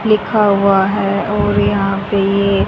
लिखा हुआ है और यहां पे ये--